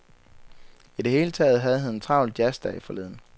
I det hele taget havde han en travl jazz-dag forleden.